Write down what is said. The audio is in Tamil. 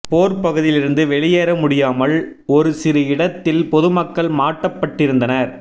போர்ப் பகுதியிலிருந்து வெளியேற முடியாமல் ஒரு சிறு இடத்தில் பொதுமக்கள் மாட்டப்பட்டிருந்தனர்